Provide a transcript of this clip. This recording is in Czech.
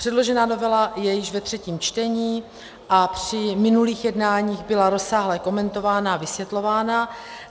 Předložená novela je již ve třetím čtení a při minulých jednáních byla rozsáhle komentována a vysvětlována.